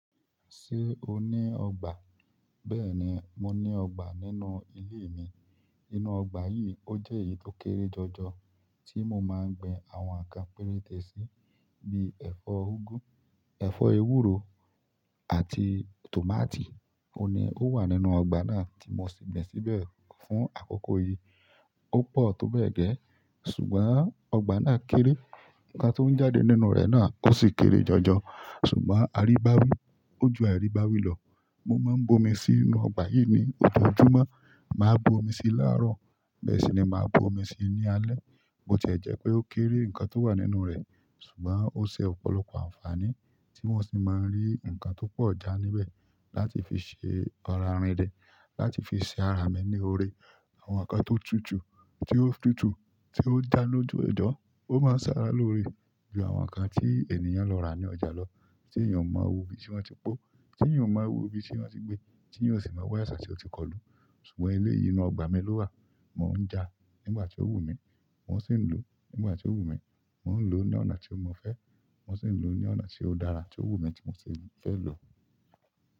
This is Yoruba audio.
Ṣé o ní ọgbà? Bẹ́ẹ̀ni, mo ní ọgbà nínú ilé mi. Inú ọgbà yìí ó jẹ́ èyí tó kéré jọjọ tí mo máa ń gbin àwọn nǹkan péréte sí bíi ẹ̀fọ́ úgú, ẹ̀fọ́ ewúro àti tòmátì. Óhun ní, ó wà nínú ọgbà náà tí mo sì gbìn síbẹ̀ fún àkókò yìí. Ó pọ̀ tó bẹ́ẹ̀ gẹ́, ṣùgbọ́n ọgbà náà kéré, nǹkan tó ń jáde nínú rẹ̀ náà ó sì kéré jọjọ. Ṣùgbọ́n àrí bá wí, ó ju àrí bá wí lọ. Mo máa ń bomi sí inú ọgbà yìí ní oọjọ́júmọ́, màá bomi sí láàárọ̀, bẹ́ẹ̀ sì ni màá bomi sí ní alẹ́. Botí ẹ jẹ́ pé ó kéré nǹkan tó wà nínú rẹ̀, ṣùgbọ́n ó ṣẹ ọ̀pọ̀lọpọ̀ àǹfààní tí wọ́n sì máa ń rí nǹkan tó pọ̀ já níbẹ̀ láti fi ṣe ọ̀ra rìn dẹ̀, láti fi ṣe ara mi ní oore. Àwọn nǹkan tó tutù, tí ó tutù, tí ó já lójú ẹ̀dọ̀, ó máa ń ṣàrà lóore ju àwọn nǹkan tí ènìyàn lọ rà ní ọjà lọ tí èeyàn o mọ̀ iru ibí tí wọ́n ti pọ́, tí èeyàn o mọ̀ iru ibí tí wọ́n ti gbé, tí èeyàn ò sì maa wá àìsàn tí ó ti kọlù. Ṣùgbọ́n eléyii inú ọgbà mi ló wà, mò ń jà ngbà tí ó wù mí, mọ́ sì ń lò nígbà tí ó wù mí, mò ń lò ní ọ̀nà tí mo fẹ́, mọ́ sì ń lò ní ọ̀nà tí ó dára, tí ó wù mí tí mò sì fẹ́ lò.